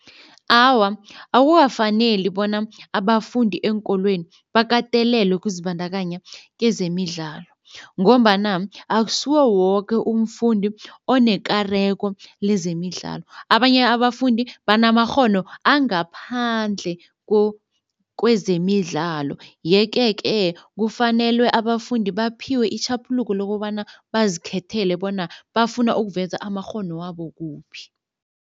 Awa akukafaneli bona abafundi eenkolweni bakatelelwe ukuzibandakanya kezemidlalo ngombana akusiwo woke umfundi onekareko lezemidlalo. Abanye abafundi banamakghono angaphandle kwezemidlalo yeke-ke kufanelwe abafundi baphiwe itjhaphuluko lokobana bazikhethela bona bafuna ukuveza amakghono wabo kuphi.